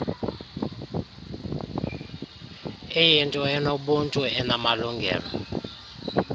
iyinto enobuntu enamalungelo